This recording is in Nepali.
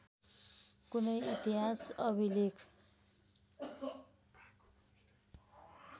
कुनै इतिहास अभिलेख